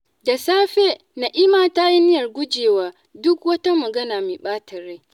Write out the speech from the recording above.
Da safe, Na'ima ta yi niyyar gujewa duk wata magana mai ɓata rai.